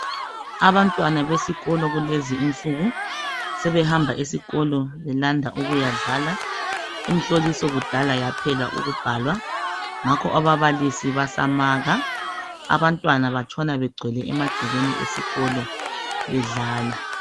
Abantwana besikolo kulezi insuku sebehamba esikolo belanda ukuyadlala imhloliso kudala yaphela ukubhalwa ngakho ababalisi basamaka abantwana batshona begcwele emagcekeni esikolo bedlala